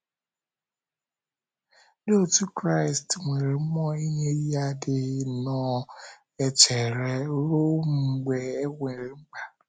Ndị otú Kraịst nwere mmụọ inye ihe adịghị nnọọ echere ruo mgbe e nwere mkpa.